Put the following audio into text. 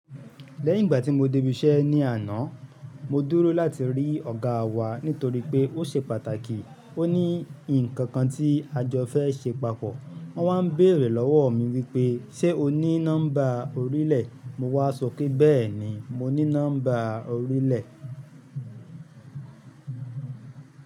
Lẹ́yìn ìgbà tí mo débí iṣẹ́ ní àná, mo dúró láti rí ọ̀gá wa nítorí pé ó ṣe pàtàkì, ó ní ǹkan kan tí a jọ fẹ́ ṣe papọ̀. Wọ́n wá n béèrè lọ́wọ́ mi wípé, ṣé o ní nọ́mbà orílẹ̀? Mo wá sọ pé bẹ́ẹ̀ni mo ní nọ́mbà orílẹ̀.